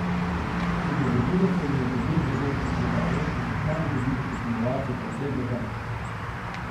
Udeležilo se je je devet zagorskih rudarjev, ki so kmalu dobili posnemovalce po vsej državi.